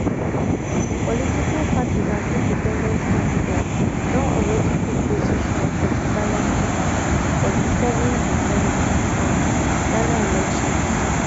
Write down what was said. political parties and independent candidates don alreadi pick position for di ballot paper for di seven december um ghana elections